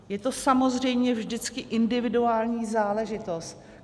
Je to samozřejmě vždycky individuální záležitost.